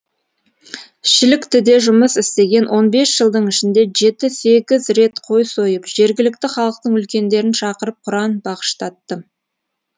шіліктіде жұмыс істеген он бес жылдың ішінде жеті сегіз рет қой сойып жергілікті халықтың үлкендерін шақырып құран бағыштаттым